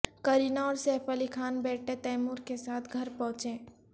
کرینہ اور سیف علی خان بیٹے تیمور کے ساتھ گھر پہنچے